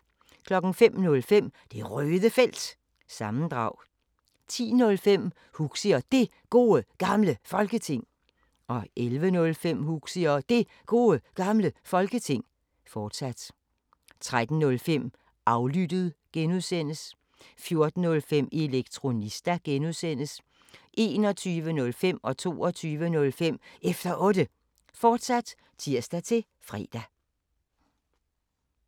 05:05: Det Røde Felt – sammendrag 10:05: Huxi og Det Gode Gamle Folketing 11:05: Huxi og Det Gode Gamle Folketing, fortsat 13:05: Aflyttet (G) 14:05: Elektronista (G) 21:05: Efter Otte, fortsat (tir-fre) 22:05: Efter Otte, fortsat (tir-fre)